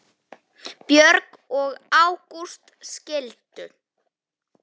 Björg og Ágúst skildu.